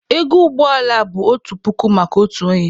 Ego ụgbọ ala bụ otu puku maka otu onye.